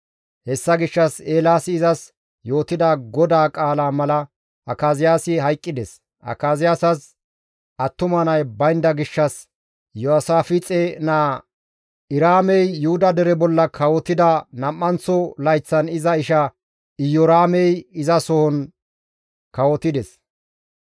Hessa gishshas Eelaasi izas yootida GODAA qaala mala Akaziyaasi hayqqides. Akaziyaasas attuma nay baynda gishshas Iyoosaafixe naa Iraamey Yuhuda dere bolla kawotida nam7anththo layththan iza isha Iyoraamey izasohon kawotides.